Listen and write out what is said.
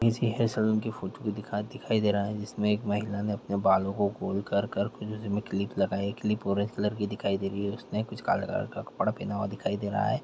ऐसी है सैलून की फोटो दिखाई दे रहा है जिसमें एक महिला ने अपने बालो को खोल कर कर खुल्ले सिर में क्लिप लगाई क्लिप ऑरेंज कलर की दिखाई दे रही है उसने कुछ काले कलर का कपड़ा पहना हुआ दिखाई दे रहा है।